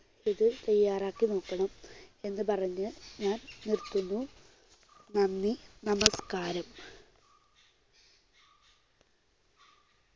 ഇത് തയ്യാറാക്കി നോക്കണം എന്നു പറഞ്ഞ് ഞാൻ നിർത്തുന്നു. നന്ദി, നമസ്കാരം.